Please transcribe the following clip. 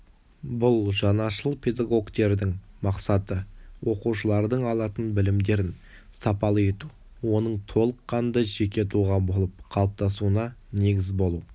бұл жаңашыл педагогтердің мақсаты оқушылардың алатын білімдерін сапалы ету оның толыққанды жеке тұлға болып қалыптасуына негіз болу